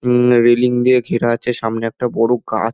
উম railing দিয়ে ঘেরা আছে সামনে একটা বড় কা--